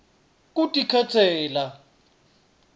kutikhetsela